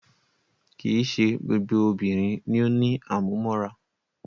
Kìí ṣe gbogbo obìnrin ni o ní àmúmóra.